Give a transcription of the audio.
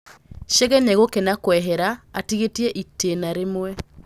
Chege nĩegũkena kwehera atigĩtie itĩna rĩmwe.